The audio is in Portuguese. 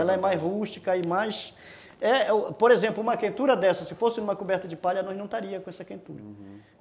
Ela é mais rústica e mais... É, por exemplo, uma quentura dessa, se fosse uma coberta de palha, nós não estaríamos com essa quentura, uhum.